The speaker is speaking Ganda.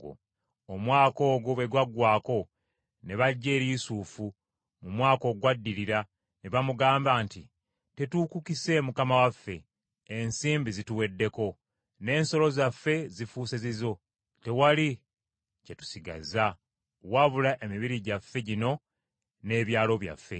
Omwaka ogwo bwe gwaggwaako, ne bajja eri Yusufu mu mwaka ogwaddirira ne bamugamba nti, “Tetuukukise mukama waffe, ensimbi zituweddeko n’ensolo zaffe zifuuse zizo tewali kye tusigazza, wabula emibiri gyaffe gino n’ebyalo byaffe.